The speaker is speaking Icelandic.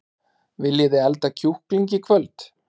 Viljiði elda kjúkling í kvöld?